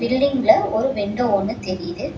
பில்டிங்ல ஒரு விண்டோ ஒன்னு தெரிது.